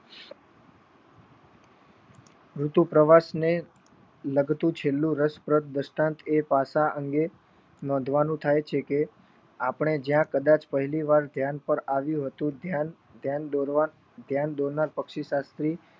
ઋતુ પ્રવાસ ને લાગતું છેલ્લું રસપ્રદ દૃશ્યત એ ભાષા અંગે નોંધવાનું થાય કહે કે આપણે જ્યાં કદાચ પહેલી વાર ધ્યાન પર આવ્યું હતું ધ્યાન દોરવા ધ્યાન દોરનાર પક્ષી સાથવી